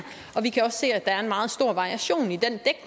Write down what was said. og vi kan også se at der er en meget stor variation i den